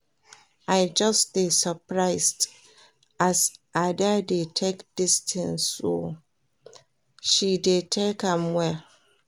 I just dey surprised as Ada dey take dis thing oo, she dey take am well